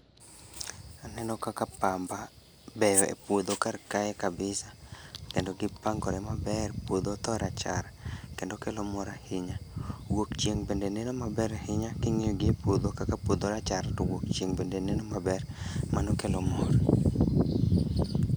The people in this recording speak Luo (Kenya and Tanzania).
Aneno kaka pamba beyo e puodho kar kae kabisa, kendo gipangore maber puodho otho rachar kendo kelo mor ahinya. Wuok chieng' bende neno maber ahinya king'iyo gi e puodho kaka puodho rachar to wuok chieng' bende neno maber, mano kelo mor